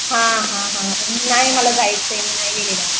नाही मला जायचं आहे मी नाही गेलेले